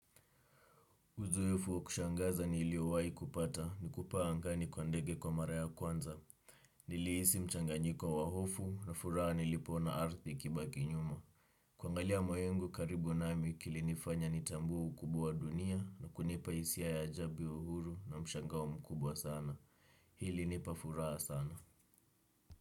Uzoefu wa kushangaza niliowahi kupata ni kupaa angani kwa ndege kwa mara ya kwanza. Nilihisi mchanganyiko wa hofu na furaha nilipoona ardhi ikibaki nyuma. Kuangalia mawingu karibu nami kilinifanya nitambue ukubwa wa dunia na kunipa hisia ya ajabi uhuru na mshangao mkubwa sana. Hili nipa furaha sana.